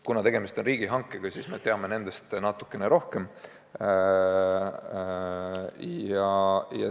Kuna tegemist on riigihankega, siis me teame nendest hindadest natukene rohkem.